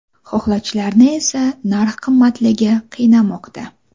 Xohlovchilarni esa narx qimmatligi qiynamoqda.